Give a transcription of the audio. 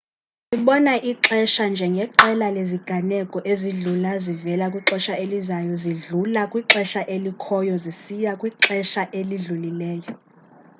silibona ixesha njeqela leziganeko ezidlula zivela kwixesha elizayo zidlula kwixesha elikhoyo zisiya kwixesha elidlulileyo